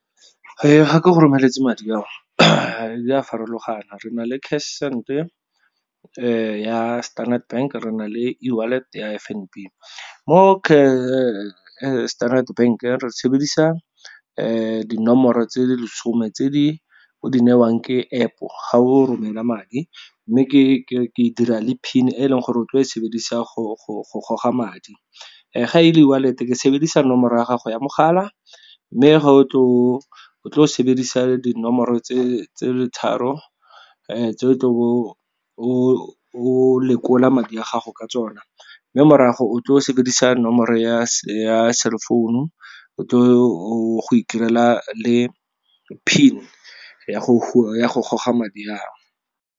Ga ke go romeletse madi a o dira farologana re na le CashSend ya Standard Bank, re na le eWallet ya F_N_B. Mo Standard Bank-e re sebedisa dinomoro tse di lesome tse di o di newang ke App ga o romela madi, mme ke dira le PIN e leng gore otlo e sebedisa go goga madi. Ga e le eWallet ke sebedisa nomoro ya gago ya mogala, mme ga o tlo sebedisa dinomoro tse tse tharo tse o tlo bo o lekola madi a gago ka tsona. Mme morago o tlo sebedisa nomoro ya cell phone-u o tlo go itirela le PIN ya go goga madi ao.